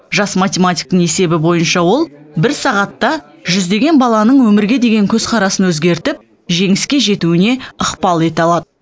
жас математиктің есебі бойынша ол бір сағатта жүздеген баланың өмірге деген көзқарасын өзгертіп жеңіске жетуіне ықпал ете алады